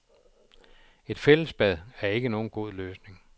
Et fællesbad er ikke nogen god løsning.